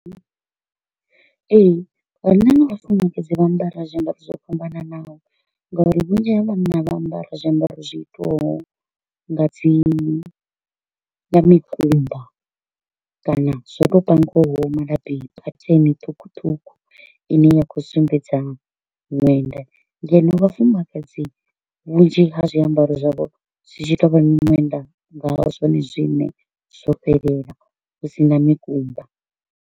Ee, vhanna na vhafumakadzi vha ambara zwiambaro zwo fhambananaho nga uri vhunzhi ha vhanna vha ambara zwiambaro zwi itiwaho nga dzi nga mikumba kana zwo to u pangwaho malabi pattern ṱhukhuṱhukhu i ne ya kho u sumbedza ṅwenda. Ngeno vhafumakadzi vhunzhi ha zwiambaro zwavho zwi tshi to u vha miṅwenda nga zwone zwine zwo fhelela hu sina mikumba.